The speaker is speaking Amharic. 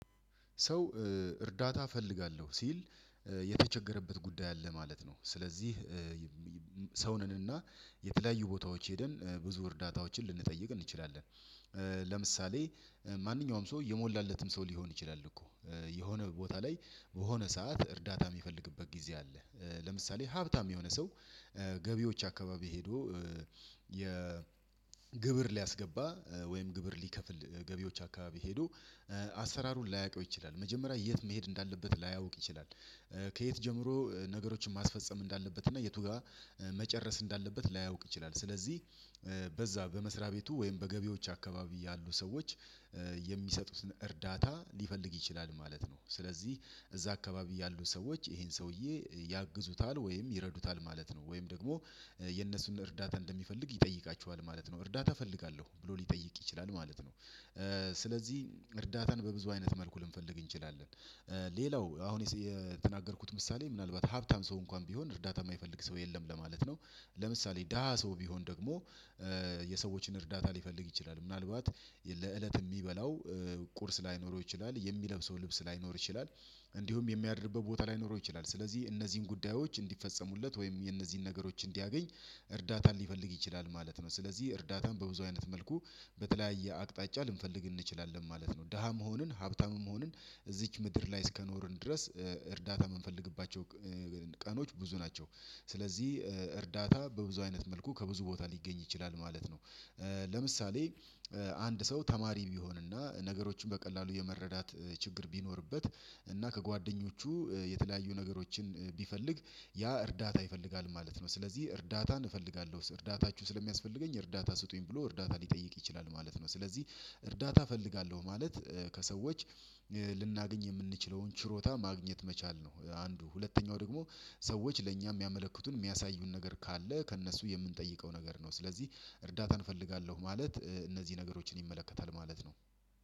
ሰው እርዳታ እፈልጋለሁ ሲል የተቸገረበት ጉዳይ አለ ማለት ነው። ስለዚህ ሰው ነንና የተለያዩ ቦታዎች ሄደን ብዙ እርዳታዎችን ልንጠይቅ እንችላለን። ለምሳሌ ማንኛውም ሰው እየሞላለትም ሰው ሊሆን ይችላል እኮ የሆነ ቦታ ላይ በሆነ ሰዓት እርዳታ የሚፈልግበት ጊዜ አለ። ለምሳሌ ሀብታም የሆነ ሰው ገቢዎች አካባቢ ሄዶ የግብር ሊያስገባ ወይም ግብር ሊከፍል ገቢዎች አካባቢ ሄዶ አሰራሩን ላያውቀው ይችላል። መጀመሪያ የት መሄድ እንዳለበት ላያውቅ ይችላል። ከየት ጀምሮ ነገሮችን ማስፈጸም እንዳለበት እና የቱ ጋር መጨረስ እንዳለበት ላያውቅ ይችላል። ስለዚህ በዛ በመስሪያ ቤቱ ወይም በገቢዎች አካባቢ ያሉ ሰዎች የሚሰጡትን እርዳታ ሊፈልግ ይችላል ማለት ነው። ስለዚህ እዛ አካባቢ ያሉት ሰዎች ይሄን ሰውዬ ያግዙታል ወይም ይረዱታል ማለት ነው። ወይም ደግሞ የነሱን እርዳታ እንደሚፈልግ ይጠይቃችኋል ማለት ነው። እርዳታ እፈልጋለሁ ብሎ ሊጠይቅ ይችላል ማለት ነው። ስለዚህ እርዳታን በብዙ አይነት መልኩ ልንፈልግ እንችላለን። ሌላው አሁን የተናገርኩት ምሳሌ ምናልባት ሀብታም ሰው እንኳን ቢሆን እርዳታ የማይፈልግ ሰው የለም ለማለት ነው። ለምሳሌ ደሃ ሰው ቢሆን ደግሞ የሰዎችን እርዳታ ሊፈልግ ይችላል ምናልባት ለእለት የሚበላው ቁርስ ላይኖረው ይችላል የሚለብሰው ልብስ ላይኖር ይችላል። እንዲሁም የሚያድርበት ቦታ ላይኖረው ይችላል ስለዚህ እነዚህን ጉዳዮች እንዲፈጸሙለት ወይም የነዚህን ነገሮች እንዲያገኝ እርዳታን ሊፈልግ ይችላል ማለት ነው። ስለዚህ እርዳታን በብዙ አይነት መልኩ በተለያየ አቅጣጫ ልንፈልግ እንችላለን ማለት ነው። ደሃ መሆንን ሀብታም መሆንን እዚች ምድር ላይ እስከኖርን ድረስ እርዳታ የምንፈልግባቸው ቀኖች ብዙ ናቸው። ስለዚህ እርዳታ በብዙ አይነት መልኩ ከብዙ ቦታ ሊገኝ ይችላል ማለት ነው። ለምሳሌ አንድ ሰው ተማሪ ቢሆንና ነገሮችን በቀላሉ የመረዳት ችግር ቢኖርበት እና ከጓደኞቹ የተለያዩ ነገሮችን ቢፈልግ ያ እርዳታ ይፈልጋል ማለት ነው። ስለዚህ እርዳታን እፈልጋለሁ እርዳታችሁ ስለሚያስፈልገኝ እርዳታ ስጡኝ ብሎ እርዳታ ሊጠይቅ ይችላል ማለት ነው። ስለዚህ እርዳታ እፈልጋለሁ ማለት ከሰዎች ልናገኝ የምንችለውን ችሮታ ማግኘት መቻል ነው። አንዱ ሁለተኛው ደግሞ ሰዎች ለኛ የሚያመለክቱን የሚያሳዩን ነገር ካለ ከእነሱ የምንጠይቀው ነገር ነው። ስለዚህ እርዳታን እፈልጋለሁ ማለት እነዚህ ነገሮችን ይመለከታል ማለት ነው።